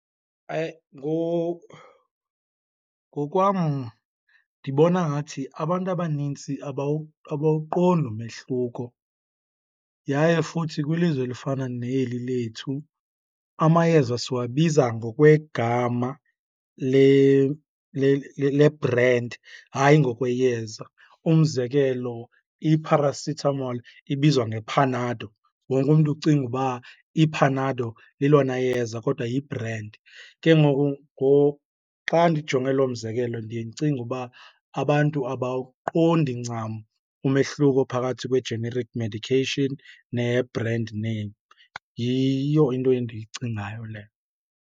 Ngokwam ndibona ngathi abantu abanintsi abawuqondi umehluko yaye futhi kwilizwe elifana neli lethu amayeza siwabiza ngokwegama le-brand, hayi ngokweyeza. Umzekelo, i-paracetamol ibizwa ngePanado, wonke umntu ucinga uba iPanado lelona yeza kodwa yibrendi. Ke ngoku xa ndijonge loo mzekelo ndiye ndicinge uba abantu abawuqondi ncam umehluko phakathi kwe-generic medication ne-brand name, yiyo into endiyicingayo leyo.